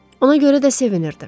Ona görə də sevinirdi.